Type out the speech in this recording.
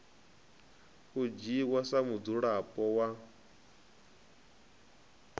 u dzhiwa sa mudzulapo wa